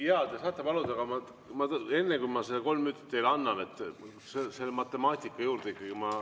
Jaa, te saate seda paluda, aga enne, kui ma need kolm minutit teile annan, läheme selle matemaatika juurde ikkagi.